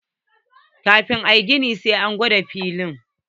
Kafin a yi gini, sai an gwada filin.